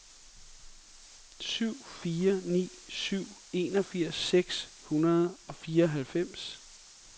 syv fire ni syv enogfirs seks hundrede og fireoghalvfems